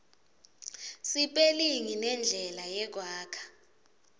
sipelingi nendlela yekwakha